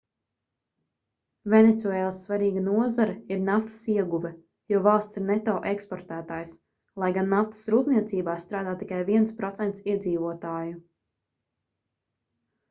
venecuēlas svarīga nozare ir naftas ieguve jo valsts ir neto eksportētājs lai gan naftas rūpniecībā strādā tikai 1% iedzīvotāju